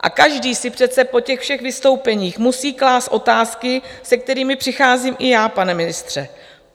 A každý si přece po těch všech vystoupeních musí klást otázky, se kterými přicházím i já, pane ministře.